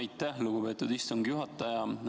Aitäh, lugupeetud istungi juhataja!